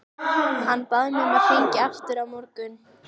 Hann bað mig að hringja aftur á morgun.